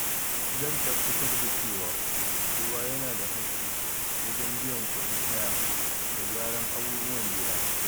zan tabbatar da cewa kowa yana da haƙƙi wajen biyan kuɗin haya da gyara abubuwan gida